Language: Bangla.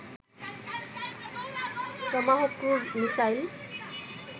Tomahawk cruise missile